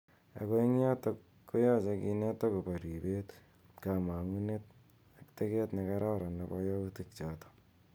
Ako eng yotok koyeche kinet ako bo ripet ,kamangunetand teket nekaran nebo yautik chotok.